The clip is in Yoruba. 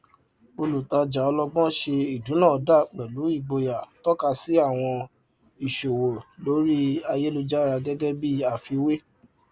ọpọlọpọ àwọn oníṣòwò kékeré gbárà lé àwọn kaadi kirẹditi láti ṣàkóso ṣiṣàn owó nígbà tí títà pọ jù